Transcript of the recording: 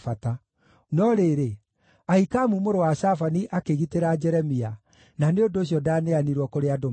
No rĩrĩ, Ahikamu mũrũ wa Shafani akĩgitĩra Jeremia, na nĩ ũndũ ũcio ndaaneanirwo kũrĩ andũ mamũũrage.